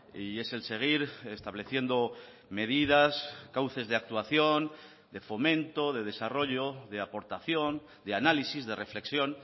y es el seguir estableciendo medidas cauces de actuación de fomento de desarrollo de aportación de análisis de reflexión